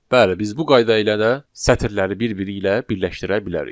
Bəli, biz bu qayda ilə də sətirləri bir-biri ilə birləşdirə bilərik.